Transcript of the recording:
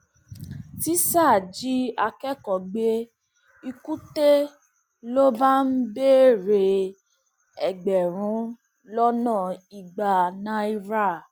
tísá jí akẹkọọ gbé lkùté ló bá ń béèrè ẹgbẹrún lọnà ìgbà náírà